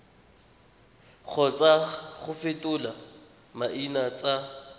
kgotsa go fetola maina tsa